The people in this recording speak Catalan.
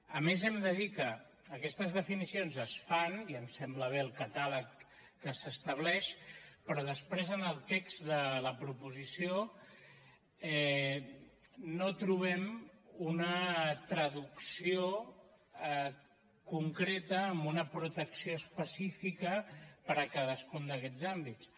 a més hem de dir que aquestes definicions es fan i ens sembla bé el catàleg que s’estableix però després en el text de la proposició no trobem una traducció concreta amb una protecció específica per a cadascun d’aquests àmbits